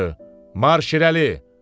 Marş irəli!